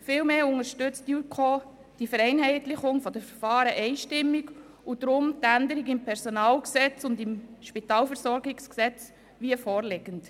Vielmehr unterstützt die JuKo die Vereinheitlichung der Verfahren einstimmig und deshalb auch die Änderung im PG und im SpVG wie vorliegend.